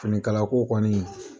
Finikala ko kɔni